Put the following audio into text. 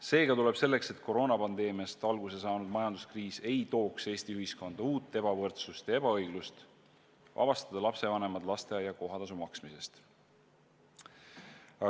Seega tuleb selleks, et koroonapandeemiast alguse saanud majanduskriis ei tooks Eesti ühiskonda uut ebavõrdsust ja ebaõiglust, vabastada lapsevanemad lasteaia kohatasu maksmisest.